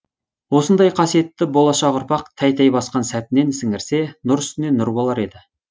осындай қасиетті болашақ ұрпақ тәй тәй басқан сәтінен сіңірсе нұр үстіне нұр болар еді